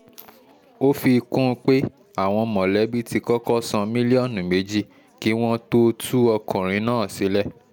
ó fi kún un pé àwọn mọ̀lẹ́bí ti kọ́kọ́ san mílíọ̀nù méjì kí wọ́n tóó tú ọkùnrin náà sílẹ̀